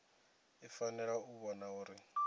i fanela u vhona uri